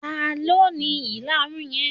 Talọ́ ni ìlarun yí?